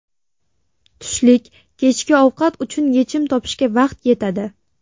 Tushlik, kechki ovqat uchun yechim topishga vaqt yetadi.